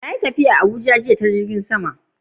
Na yi tafiya zuwa Abuja jiya ta jirgin sama.